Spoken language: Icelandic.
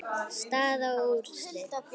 Staða og úrslit.